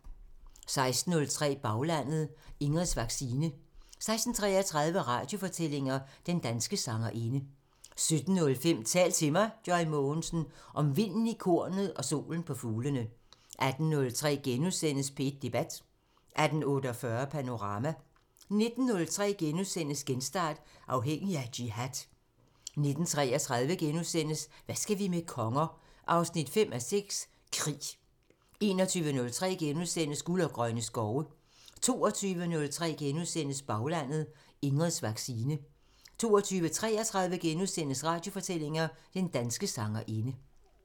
16:03: Baglandet: Ingrids vaccine 16:33: Radiofortællinger: Den danske sangerinde 17:05: Tal til mig – Joy Mogensen: Om vinden i kornet og solen på fuglene 18:03: P1 Debat * 18:48: Panorama 19:03: Genstart: Afhængig af jihad * 19:33: Hvad skal vi med konger? 5:6 – Krig * 21:03: Guld og grønne skove * 22:03: Baglandet: Ingrids vaccine * 22:33: Radiofortællinger: Den danske sangerinde *